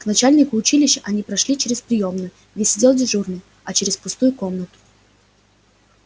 к начальнику училища они прошли через приёмную где сидел дежурный а через пустую комнату